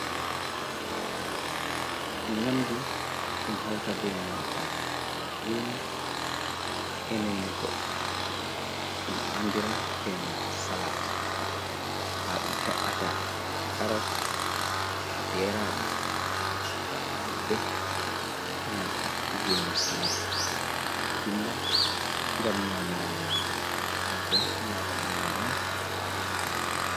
Nyamdu ɗum hauta be enanta gene e none goɗɗum, ɗum andira e nanta salat. Ha ɗum he’ata karos, geraɗe, nyebbe, e nanta gene salat, jilla ngam nyamira nyamdu, ma bo nyama ɗum nonnon.